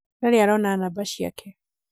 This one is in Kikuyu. ndarĩ arona namba ciake